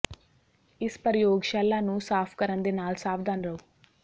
ਇਸ ਪ੍ਰਯੋਗਸ਼ਾਲਾ ਨੂੰ ਸਾਫ ਕਰਨ ਦੇ ਨਾਲ ਸਾਵਧਾਨ ਰਹੋ